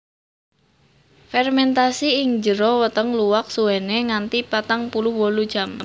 Fèrmentasi ing jero weteng luwak suwené nganti patang puluh wolu jam